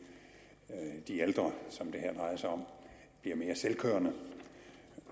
i de ældre som det her drejer sig om bliver mere selvkørende